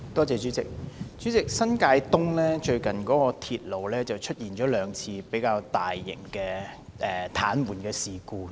主席，新界東鐵路系統最近曾出現兩次較大型的癱瘓事故。